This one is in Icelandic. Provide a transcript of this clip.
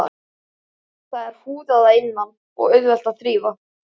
Það er húðað að innan og auðvelt að þrífa.